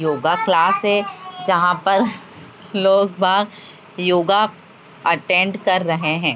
Yoga class है | जहाँ पर लोग बाग योगा अटेंड कर रहे हैं ।